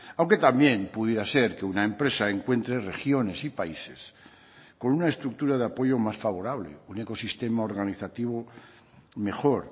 aunque también pudiera ser que una empresa encuentre regiones y países con una estructura de apoyo más favorable un ecosistema organizativo mejor